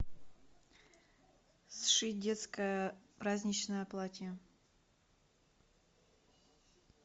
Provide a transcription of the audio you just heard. сшить детское праздничное платье